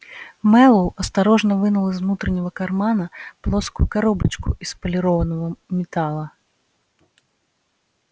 мэллоу осторожно вынул из внутреннего кармана плоскую коробочку из полированного металла